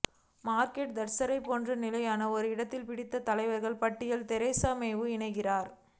Margaret தாட்சரைப் போன்று நிலையான ஓர் இடத்தை பிடித்த தலைவர்கள் பட்டியலில் தெரசா மேவும் இணைகிறார்